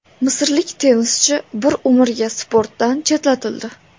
Misrlik tennischi bir umrga sportdan chetlatildi.